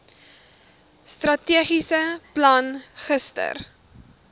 strategiese plan gister